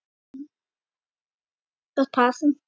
Gott par.